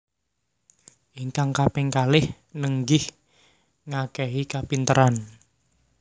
Ingkang kaping kalih nenggih ngakehi kapinteran